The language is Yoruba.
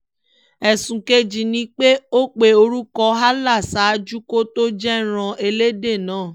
ẹ̀sùn kejì ni pé ó pe orúkọ allah ṣáájú kó tóó jẹ̀rán ẹlẹ́dẹ̀ náà